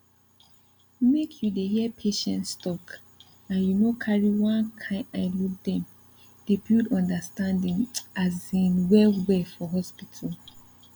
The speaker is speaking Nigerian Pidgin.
make you dey hear patients talk and you no carry one kind eye look dem dey build understanding asin well well for hospital